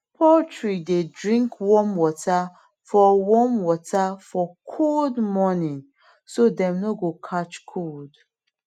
poultry dey drink warm water for warm water for cold morning so dem no go catch cold